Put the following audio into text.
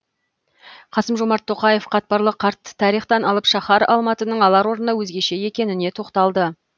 қасым жомарт тоқаев қатпарлы қарт тарихтан алып шаһар алматының алар орны өзгеше екеніне тоқталды